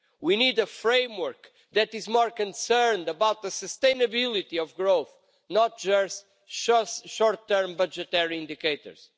We need a framework that is more concerned about the sustainability of growth, not just short-term budgetary indicators.